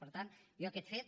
per tant jo aquest fet